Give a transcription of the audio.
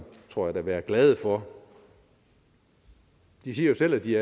tror jeg da være glade for de siger jo selv at de